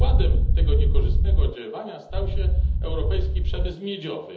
Przykładem tego niekorzystnego oddziaływania stał się europejski przemysł miedziowy.